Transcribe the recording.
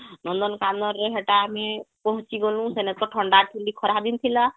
ନନ୍ଦନ କାନନ ରେ ହେଟା ଆମେ ପହଂଚି ଗ୍ନୁ ସେନେ ତ ଥଣ୍ଡା ଠୂଣ୍ଡି ଖରା ଦିନ ଥିଲା